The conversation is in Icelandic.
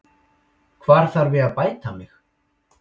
Hvar þarf ég að bæta mig?